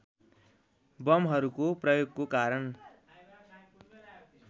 बमहरूको प्रयोगको कारण